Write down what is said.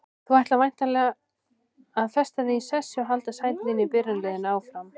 Þú ætlar væntanlega að festa þig í sessi og halda sæti þínu í byrjunarliðinu áfram?